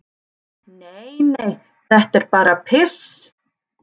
"""Nei, nei, þetta er bara piss."""